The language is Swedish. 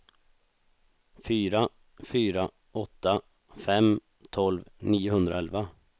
fyra fyra åtta fem tolv niohundraelva